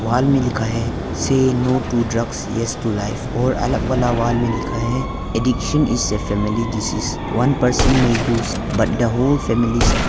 Wall में लिखा है say no to drugs yes to life और अलग वाला वॉल में लिखा है addiction is a family disease one person may but the whole family suffer.